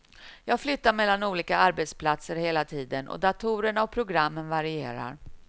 Jag flyttar mellan olika arbetsplatser hela tiden och datorerna och programmen varierar.